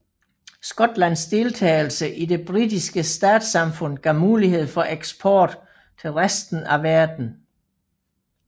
Skotlands deltagelse i det britiske statssamfund gav mulighed for eksport til resten af verden